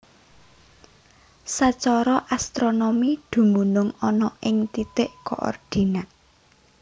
Sacara astronomi dumunung ana ing titik koordinat